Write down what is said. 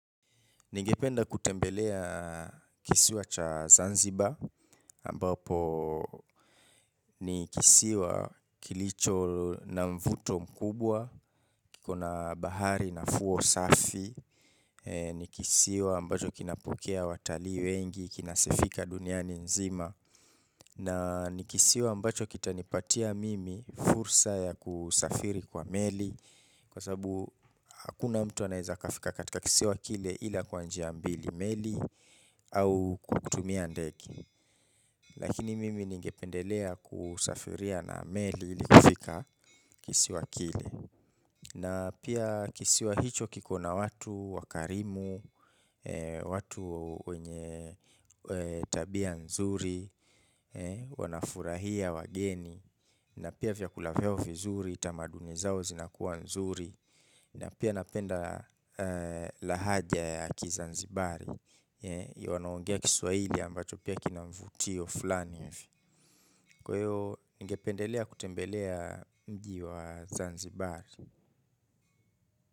Ningependa kutembelea kisiwa cha Zanziba ambapo ni kisiwa kilicho na mvuto mkubwa Kikoabahari na fuo safi ni kisiwa ambacho kinapokeaa watalii wengi Kinasifika duniani nzima na ni kisiwa ambacho kita nipatia mimi fursa ya kusafiri kwa meli Kwa sababu hakuna mtu anayeweza kufika katika kisiwa kile Ila kwa njia mbili meli au kutumia ndege lakini mimi ningependelea kusafiria na ameli ilikufika kisiwa kile na pia kisiwa hicho kiko na watu wakarimu watu wenye tabia nzuri wanafurahia wageni na pia vyakula vyao vizuri tamaduni zao zinakuwa nzuri na pia napenda lahaja ya kizanzibari ya wanaongea kiswaili ambacho pia kinamvutio fulani kwahiyo ngependelea kutembelea mji wa zanzibari.